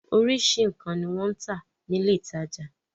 Oríṣiríṣi nǹkan ni wọ́n ń tà nílé ìtajà.